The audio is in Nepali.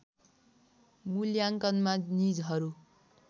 मूल्याङ्कनमा निजहरू